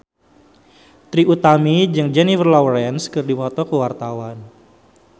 Trie Utami jeung Jennifer Lawrence keur dipoto ku wartawan